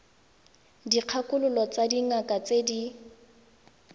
dikgakololo tsa dingaka tse di